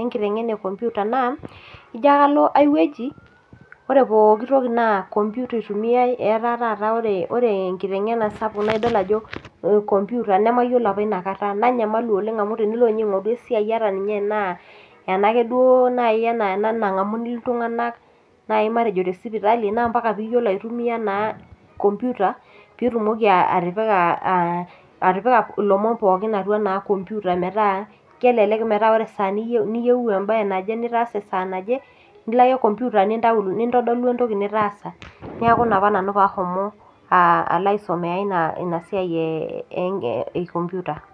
enkiteng'ena ee kompita naa ijio ake alo aiwueji naa kompita eitumiai etaa taat ore enkiteng'ena sapuk naa kompita nanyamalu apa oleng ena kata amh tenilo ninye aing'oru esiai ataa Tena ena duake ena nangamuni iltung'ana tee sipitali naa mbaka pee eyiolou aitumia naa kompita pee etumoki atipika elomon pookin atua kompita metaa kelelek metaa ore esaa niyieu mbae naje nitaasa esaa naje nilo ake kompita nintodolu esiai nitaasa neeku ena apa pee ahomo nanu aisomea ena siai ee kompita